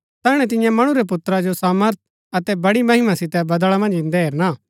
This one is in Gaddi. तैहणै तियां मणु रै पुत्रा जो सामर्थ अतै बड़ी महिमा सितै बदळा मन्ज ईन्दै हेरणा